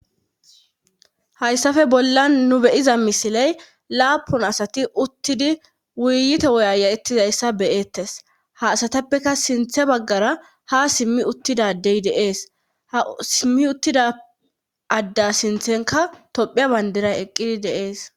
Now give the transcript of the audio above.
Hayssafe bollan nu beyiza misiley laapun asati uttidi wuyyite woyaya'ettizayssa beyeettes ha asatappeka sinthe baggara ha simmi uttidadey deees ha simmi uttida adda sinthenka tophea bandira eqqidi deees